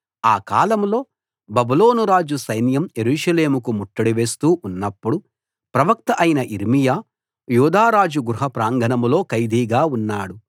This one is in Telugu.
ఆ కాలంలో బబులోను రాజు సైన్యం యెరూషలేముకు ముట్టడి వేస్తూ ఉన్నప్పుడు ప్రవక్త అయిన యిర్మీయా యూదా రాజు గృహ ప్రాంగణంలో ఖైదీగా ఉన్నాడు